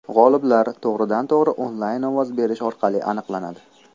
G‘oliblar to‘g‘ridan-to‘g‘ri onlayn ovoz berish orqali aniqlanadi.